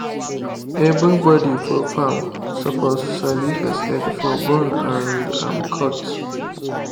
everybody for farm suppose sabi first aid for burn and um cut.